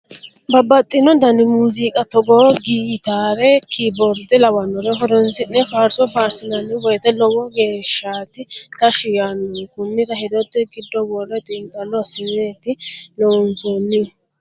Babbaxxino dani muziiqa togo gitare kiborde lawanore horonsine faarso faarsi'nanni woyte lowo geeshshati tashshi yaanohu konira hedote giddo wore xiinxallo assineti loonsonihu.